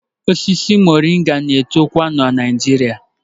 Osisi Moringa na-etokwa na Naịjirịa